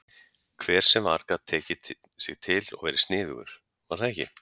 Hver sem var gat tekið sig til og verið sniðugur, var það ekki?